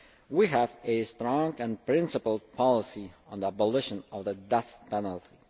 We have a strong and principled policy on the abolition of the death penalty.